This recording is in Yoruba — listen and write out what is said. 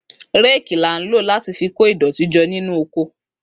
Réèkì là ń lò láti fi ko ìdọ̀tí jọ nínú oko